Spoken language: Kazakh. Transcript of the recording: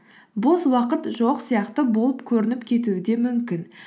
бос уақыт жоқ сияқты болып көрініп кетуі де мүмкін